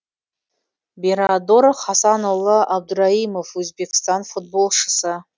берадор хасанұлы абдыраимов өзбекстан футболшысы